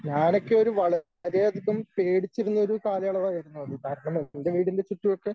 ഞാനൊക്കെ ഒരു വളരെയധികം പേടിച്ചിരുന്ന ഒരു കാലയളവായിരുന്നു അത് കാരണം എൻ്റെ വീടിൻ്റെ ചുറ്റുമൊക്കെ